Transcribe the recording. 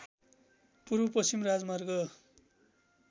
पूर्वपश्चिम राजमार्ग